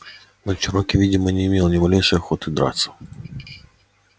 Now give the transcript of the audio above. но чероки видимо не имел ни малейшей охоты драться